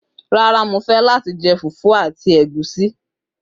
Rárá, mo fẹ́ láti jẹ fùfú àti ó ẹ ẹ̀gúsí.